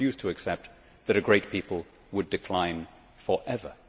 She refused to accept that a great people would decline for ever.